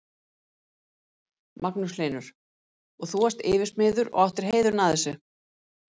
Magnús Hlynur: Og þú varst yfirsmiður og átt heiðurinn af þessu?